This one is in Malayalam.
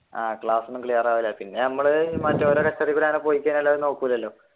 ആഹ് ക്ലാസ് ഒന്നും clear ആവൂല പിന്നെ നമ്മൾ